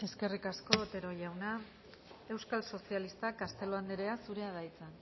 eskerrik asko otero jauna euskal sozialistak castelo andrea zurea da hitza